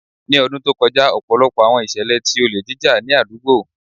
Ni ọdun to kọja, ọpọlọpọ awọn iṣẹlẹ ti ole jija ni adugbo